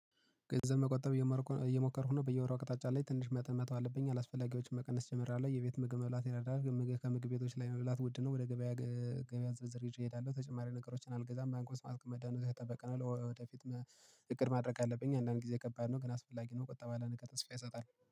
ገንዘብ መቆጠብ እየሞከርኩ ነው በየወሩ አቅጣጫ ላይ ትንሽ መጠን መተው አለብኝ፤ አላስፈላጊ ወጭዎችን መቀነስ ጀምሬአለሁ፤። የቤት ምግብ መብላት ይረዳል ከምግብ ቤቶች ላይ መብላት ውድ ነው። ወደ ገበያ ዝርዝር ይዤ እሄዳለሁ ተጨማሪ ነገሮችን አልገዛም። ባንክ ውስጥ ማስቀመጥ ነው፤ የተጠበቀነው ወደፊት። እቅድ ማድረግ አለብኝ አንዳንድ ጊዜ ከባድ ነው ግን አስፈላጊ ነው። ቁጠባ ለነገ ተስፋ ይሰጣል